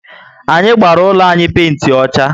Anyị gbara úlọ anyị penti ọchá